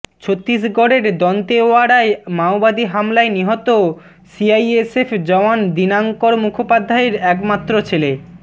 ছত্তীসগঢ়ের দন্তেওয়াড়ায় মাওবাদী হামলায় নিহত সিআইএসএফ জওয়ান দীনাঙ্কর মুখোপাধ্যায়ের একমাত্র ছেলে